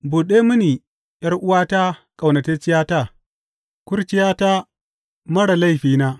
Buɗe mini, ’yar’uwata, ƙaunatacciyata, kurciyata, marar laifina.